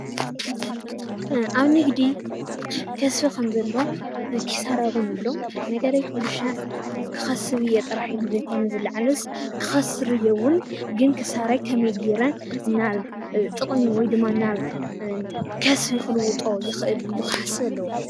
ኣብ ንግዲ ከስቢ ከም ዘሎ ክሳራ እውን ኣሎ። ነጋዳይ ኩሉሻዕ ክኸስብ እየ ኢሉ ዘይኮነ ጥራሕ ዝለዓልስ ክኸስር እየ እውን ግን ክሳራይ ከመይ ገይረ ናብ ጥቅሚ ወይድማ ናብ ከስቢ ክልውጦ ይኽእል ኢሉ ክሓስብ ኣለዎ።